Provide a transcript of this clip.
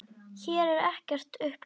Hér er ekkert upp gefið.